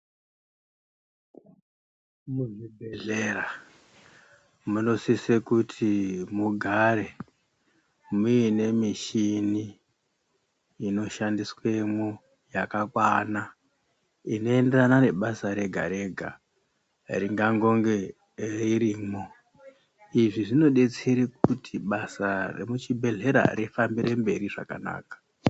Muzvibhedhlera munosise kuti mugare mune mishini ino shandiswemwo yakakwana, inoenderana nebasa rega rega ringangonge ririmwo. Izvi zvinodetsere kuti basa remuchibhedhlera rifambire mberi zvakanaka.